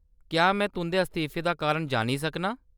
क्या में तुंʼदे इस्तीफे दा कारण जानी सकनी आं ?